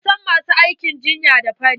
An san masu aikin jinya da fari.